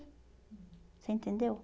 Você entendeu?